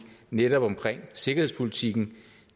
netop omkring sikkerhedspolitikken